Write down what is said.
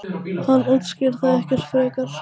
Hún útskýrir það ekkert frekar.